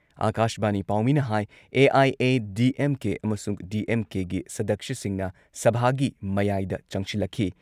ꯑꯥꯀꯥꯁꯕꯥꯅꯤ ꯄꯥꯎꯃꯤꯅ ꯍꯥꯏ ꯑꯦ.ꯑꯥꯏ.ꯑꯦ.ꯗꯤ.ꯑꯦꯝ.ꯀꯦ ꯑꯃꯁꯨꯡ ꯗꯤ.ꯑꯦꯝ.ꯀꯦꯒꯤ ꯁꯗꯛꯁ꯭ꯌꯁꯤꯡꯅ ꯁꯚꯥꯒꯤ ꯃꯌꯥꯏꯗ ꯆꯪꯁꯤꯜꯂꯛꯈꯤ ꯫